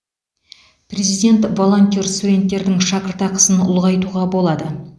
президент волонтер студенттердің шәкіртақысын ұлғайтуға болады